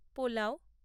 pulao